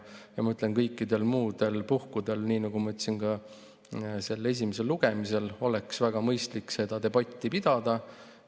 Ma ütlen, et kõikidel muudel puhkudel, nii nagu ma ütlesin ka esimesel lugemisel, oleks väga mõistlik debatti pidada.